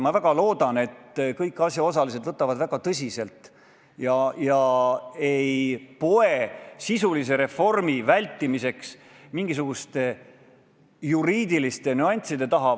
Ma väga loodan, et kõik asjaosalised võtavad asja väga tõsiselt ega poe sisulise reformi vältimiseks mingisuguste juriidiliste nüansside taha.